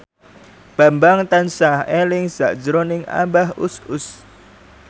Bambang tansah eling sakjroning Abah Us Us